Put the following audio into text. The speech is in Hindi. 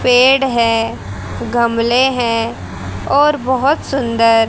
पेड़ हैं गमले हैं और बहोत सुंदर--